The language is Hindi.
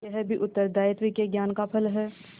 यह भी उत्तरदायित्व के ज्ञान का फल है